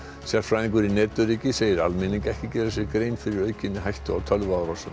sérfræðingur í netöryggi segir almenning ekki gera sér grein fyrir aukinni hættu á tölvuárásum